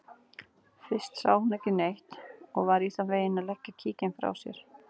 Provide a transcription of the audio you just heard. Fyrst sá hún ekki neitt og var í þann veginn að leggja kíkinn frá sér.